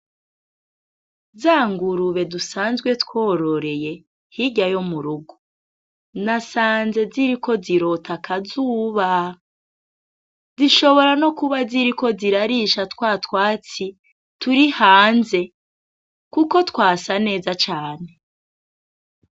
Za ngurube dusanzwe twororeye hirya yo mu rugo, nasanze ziriko zirota akazuba, zishobora nokuba ziriko zirarisha twa twatsi turi hanze, kuko twasa neza cane.